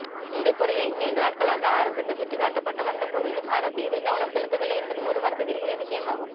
இந்தக் குறையை நீண்ட நாட்களாக அரசுக்கு சுட்டிக்காட்டப்பட்டு வந்தபோதிலும் அரசு இதில் கவனம் செலுத்தவில்லை என்பது ஒரு வருத்தத்திற்குரிய விஷயமாகும்